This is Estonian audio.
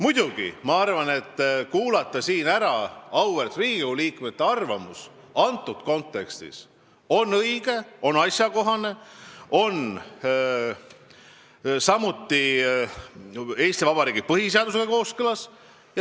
Muidugi, ma arvan, et kuulata siin ära auväärt Riigikogu liikmete arvamus antud kontekstis on õige, on asjakohane, see on samuti Eesti Vabariigi põhiseadusega kooskõlas.